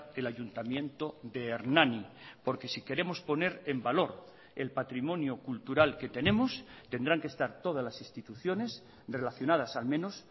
el ayuntamiento de hernani porque si queremos poner en valor el patrimonio cultural que tenemos tendrán que estar todas las instituciones relacionadas al menos